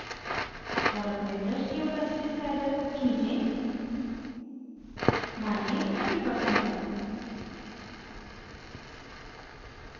और अपने brush के opacity slider को खींचें मानिये 20% तक